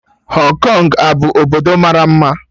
Hong Kong abu obodo mara mma?